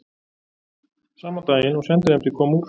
Sama daginn og sendinefndin kom úr